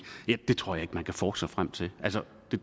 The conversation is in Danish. det tror jeg ikke man kan forske sig frem til